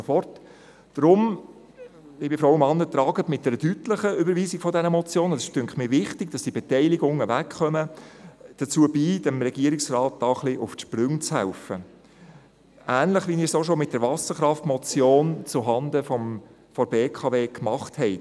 Deshalb, liebe Frauen und Männer, tragen Sie mit einer deutlichen Überweisung dieser Motion – es ist wichtig, dass diese Beteiligungen verschwinden – dazu bei, dem Regierungsrat diesbezüglich etwas auf die Sprünge zu helfen – ähnlich, wie wir es auch bereits mit der Wasserkraftmotion zuhanden der BKW gemacht haben.